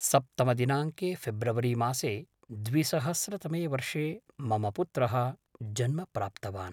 सप्तमदिनाङ्के February मासे द्विसहस्रतमे वर्षे मम पुत्रः जन्म प्राप्तवान्